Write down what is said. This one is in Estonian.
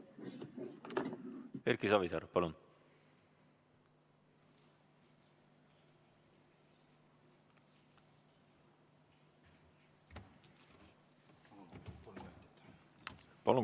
Erki Savisaar, palun!